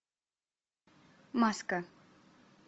маска